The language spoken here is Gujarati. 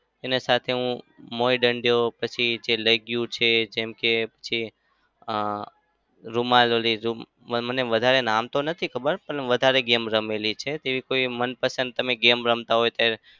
તેના સાથે હું મોઈ દંડો પછી છે લેગ્યુ છે જેમ કે અમ રૂમાલ ઓલી મને વધારે નામ તો નથી ખબર પણ વધારે game રમેલી છે તેવી કોઈ મનપસંદ તમે game તમે રમતા હોય તો?